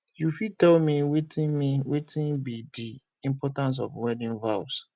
you fit tell me wetin me wetin be di importance of wedding vows